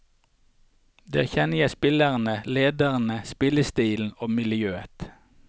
Der kjenner jeg spillerne, lederne spillestilen og miljøet.